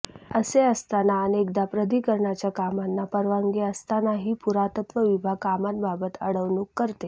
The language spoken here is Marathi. असे असताना अनेकदा प्राधिकरणाच्या कामांना परवानगी असतानाही पुरातत्व विभाग कामांबाबत अडवणूक करते